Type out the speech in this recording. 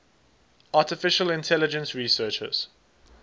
artificial intelligence researchers